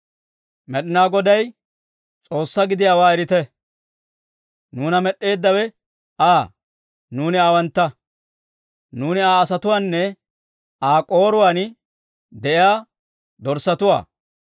Med'inaa Goday S'oossaa gidiyaawaa erite; nuuna med'd'eeddawe Aa; nuuni aawantta. Nuuni Aa asatuwaanne Aa k'ooruwaan de'iyaa dorssatuwaa.